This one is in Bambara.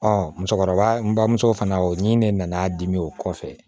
musokɔrɔba n bamuso fana ni ne nana dimi o kɔfɛ